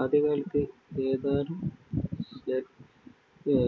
ആദ്യകാലത്ത് ഏതാനും ഷഡ്ഷ~ഡ്ജഭുജത്തിലുള്ള